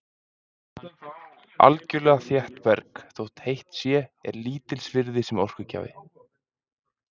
Algjörlega þétt berg, þótt heitt sé, er lítils virði sem orkugjafi.